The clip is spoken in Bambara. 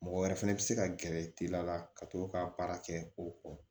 Mɔgɔ wɛrɛ fɛnɛ bi se ka gɛrɛ teliya la ka to ka baara kɛ o kɔ